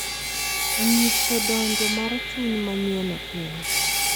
Onyiso donjo mar chuny manyien e piny.